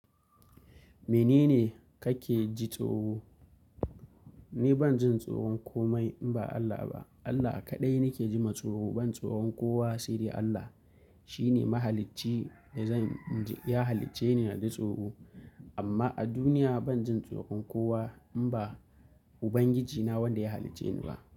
Menene kake ji tsoro? Ni ban jin tsoron komai in ba Allah ba. Allah kaɗai nake jima tsoro, ban tsoron kowa sai dai Allah. Shi ne mahalicci da zan, ya halicce ni na ji tsoro. Amma a duniya ban jin tsoron kowa, in ba, Ubangiji na wanda ya halicce ni ba.